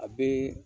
A bɛ